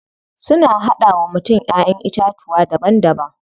Suna hada wa mutum Ƴaƴan itatuwa daban daban.